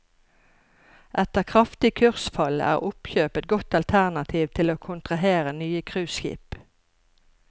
Etter kraftig kursfall er oppkjøp et godt alternativ til å kontrahere nye cruiseskip.